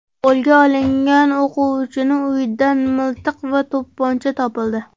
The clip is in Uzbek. Qo‘lga olingan o‘quvchining uyidan miltiq va to‘pponcha topildi.